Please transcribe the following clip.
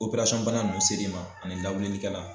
bana ninnu ser'i ma ani lawilikɛlan